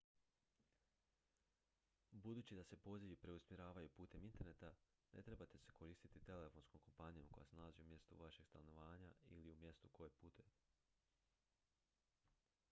budući da se pozivi preusmjeravaju putem interneta ne trebate se koristiti telefonskom kompanijom koja se nalazi u mjestu vašeg stanovanja ili u mjestu u koje putujete